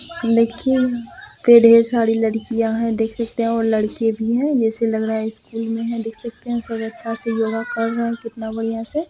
लेकिन पे ढेर सारी लड़कियाँ है देख सकते है और लड़के भी है ऐसे लग रहा है स्कुल मे है देख सकते है सब अच्छे से योगा कर रहे है कितना बढ़िया से।